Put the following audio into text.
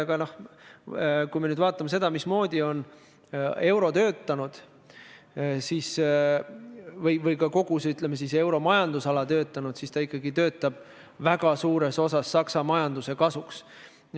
Aga kui me nüüd vaatame seda, mismoodi on euro töötanud või ka, ütleme, kuidas kogu Euroopa majandusala töötab, siis see toimib ikkagi väga suuresti Saksa majanduse kasuks.